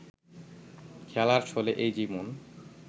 খেলার ছলে ওই জীবন